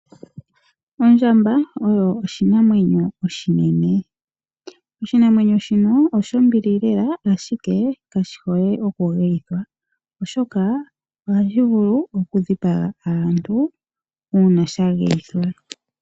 Ondjamba oshi oshinamwnyo oshinene. Oshinamwenyo shika osho mbilie lela, ashike kashi hole oku geyithwa. Ohashi vulu oku dhipaga aantu uuna sha geyithwa.